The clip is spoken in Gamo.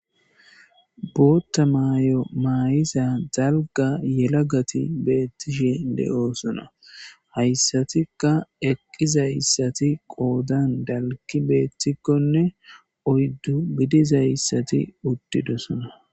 bootta maayo maayiza dalga yelagati beettishe de7oosona hayssatikka eqqizayssati qoodan dalgi beettikkonne oyddu gidizayssati uttidosona